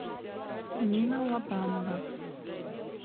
нина лобанова